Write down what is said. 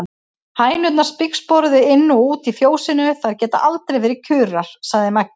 Hænurnar spígsporuðu inn og út í fjósinu, þær geta aldrei verið kjurar, sagði Maggi.